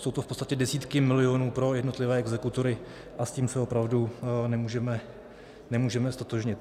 Jsou to v podstatě desítky milionů pro jednotlivé exekutory a s tím se opravdu nemůžeme ztotožnit.